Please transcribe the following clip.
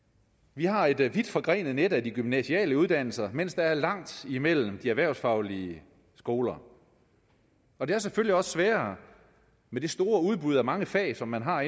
vi har et vidt forgrenet net af de gymnasiale uddannelser mens der er langt imellem de erhvervsfaglige skoler og det er selvfølgelig også sværere med det store udbud af mange fag som man har